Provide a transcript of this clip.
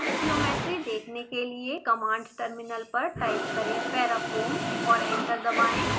अब ज्योमेट्री देखने के लिए कमांड टर्मिनल पर टाइप करें parafoam और एंटर दबाएं